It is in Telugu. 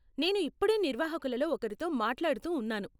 నేను ఇప్పుడే నిర్వాహకులలో ఒకరితో మాట్లాడుతూ ఉన్నాను.